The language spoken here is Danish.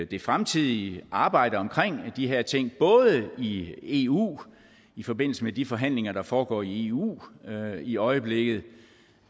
det fremtidige arbejde omkring de her ting i eu i forbindelse med de forhandlinger der foregår i eu i øjeblikket og